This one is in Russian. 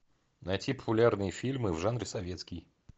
найти популярные фильмы в жанре советский